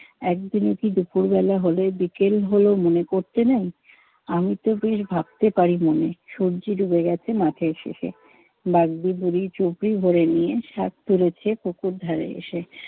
একদিনও কি দুপুরবেলা হলে বিকেল হল মনে করতে নাই? আমিতো বেশ ভাবতে পারি মনে। সুয্যি ডুবে গেছে মাঠের শেষে, বাগ্‌দি বুড়ি চুবড়ি ভরে নিয়ে শাক তুলেছে পুকুর-ধারে এসে।